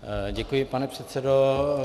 Děkuji, pane předsedo.